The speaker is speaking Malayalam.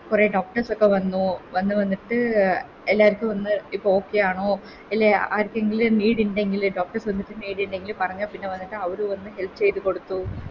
കൊറേ Doctors ഒക്കെ വന്നു വന്ന് വന്നിട്ട് എല്ലാരിക്കും ഒന്ന് ഇപ്പൊ Okay ആണോ ഇല്ലെ ഇപ്പൊ ആർക്കെങ്കിലും Need ഇണ്ടെങ്കില് Doctors വന്നിട്ട് Need ഇണ്ടെങ്കില് പറഞ്ഞ പിന്നെ വന്നിട്ട് അവര് വന്നിട്ട് Help ചെയ്ത കൊടുക്കും